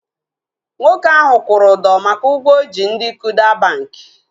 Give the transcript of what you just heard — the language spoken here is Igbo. Nwoke ahu kwụrụ ụdọ maka ụgwọ o ji ndị Kuda bankị